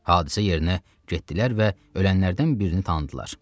Hadisə yerinə getdilər və ölənlərdən birini tanıdılar.